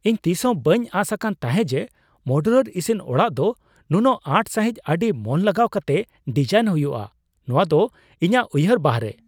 ᱤᱧ ᱛᱤᱥᱦᱚᱸ ᱵᱟᱹᱧ ᱟᱸᱥ ᱟᱠᱟᱱ ᱛᱟᱦᱮᱸ ᱡᱮ ᱢᱚᱰᱩᱞᱟᱨ ᱤᱥᱤᱱ ᱚᱲᱟᱜ ᱫᱚ ᱱᱩᱱᱟᱹᱜ ᱟᱸᱴ ᱥᱟᱹᱦᱤᱡ ᱟᱹᱰᱤ ᱢᱚᱱ ᱞᱟᱜᱟᱣ ᱠᱟᱛᱮ ᱰᱤᱡᱟᱭᱤᱱ ᱦᱩᱭᱩᱜᱼᱟ ! ᱱᱚᱶᱟ ᱫᱚ ᱤᱧᱟᱹᱜ ᱩᱭᱦᱟᱹᱨ ᱵᱟᱦᱚᱨᱮ ᱾